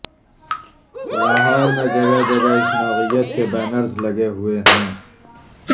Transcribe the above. لاہور میں جگہ جگہ اس نوعیت کے بینرز لگے ہوئے ہیں